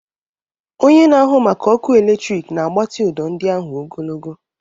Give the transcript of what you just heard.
Onye na-ahụ maka ọkụ eletrik na-agbatị ụdọ ndị ahụ ogologo.